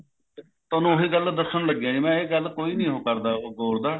ਥੋਨੂੰ ਉਹੀ ਗੱਲ ਦੱਸਣ ਲੱਗਿਆ ਜੀ ਮੈਂ ਇਹ ਗੱਲ ਕੋਈ ਨੀ ਉਹ ਕਰਦਾ ਉਹ